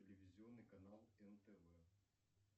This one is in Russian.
телевизионный канал нтв